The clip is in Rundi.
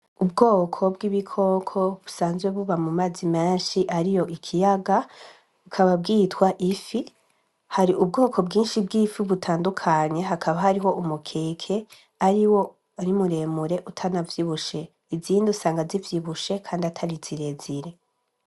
Ubwoko bw'ibikoko busanzwe buba mu mazi menshi ari yo ikiyaga ukaba bwitwa ifi hari ubwoko bwinshi bw'ifi butandukanye hakaba hariho umukeke ari wo arimuremure utanavyibushe izindi usanga zivyibushe, kandi atari zirezire.